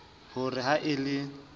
ho re ha e le